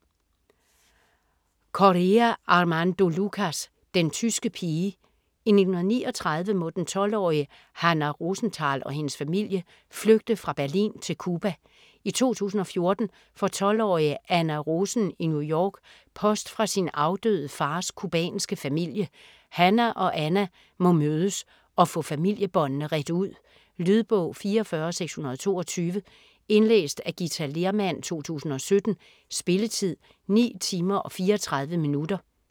Correa, Armando Lucas: Den tyske pige I 1939 må den 12-årige Hannah Rosenthal og hendes familie flygte fra Berlin til Cuba. I 2014 får 12-årige Anna Rosen i New York post fra sin afdøde fars cubanske familie. Hannah og Anna må mødes og få familiebåndene redt ud. Lydbog 44622 Indlæst af Githa Lehrmann, 2017. Spilletid: 9 timer, 34 minutter.